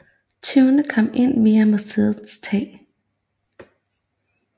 Tyvene kom ind via museets tag